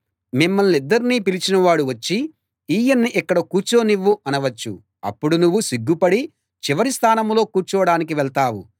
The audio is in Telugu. మిమ్మల్నిద్దర్నీ పిలిచినవాడు వచ్చి ఈయన్ని ఇక్కడ కూర్చోనివ్వు అనవచ్చు అప్పుడు నువ్వు సిగ్గు పడి చివరి స్థానంలో కూర్చోడానికి వెళ్తావు